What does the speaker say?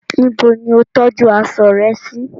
Nibo ni o tọju aṣọ rẹ si?